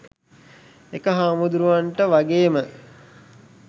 ඒක හාමුදුරුවන්ට වගේම